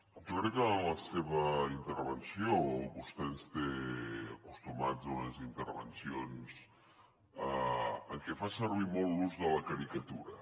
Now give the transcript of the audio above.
jo crec en la seva intervenció vostè ens té acostumats a unes intervencions en què fa servir molt l’ús de la caricatura